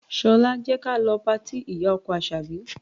Ṣọlá, jẹ́ ka lọ patí ìyá-ọkọ Àṣàbí.